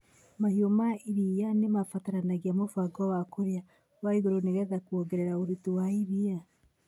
Mahiũ ma iria nĩ mabataraga mũbango wa kũrĩa wa igũrũ nĩ getha kuongerera ũruti wa iria.